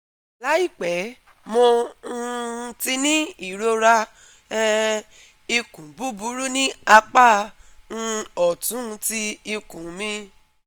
laipe Mo um ti ni irora um ikun buburu ni apa um ọtun ti ikun mi